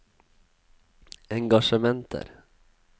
engasjementer